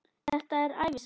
Þetta er ævisaga Elvis!